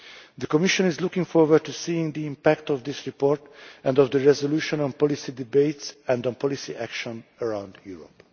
The Commission is looking forward to seeing the impact of this report and of the resolution on policy debates and on policy action around Europe.